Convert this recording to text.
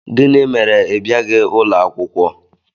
Gịnị mere ị bịaghị ụlọ akwụkwọ?